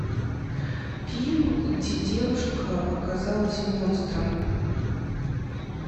фильм где девушка оказалась монстром